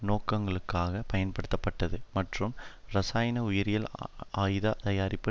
நோக்கங்களுக்காக பயன்படுத்தப்பட்டது மற்றும் இரசாயன உயிரியல் ஆயுத தயாரிப்பு